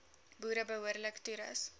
boere behoorlik toerus